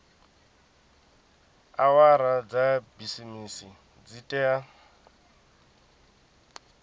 awara dza bisimisi dzi tea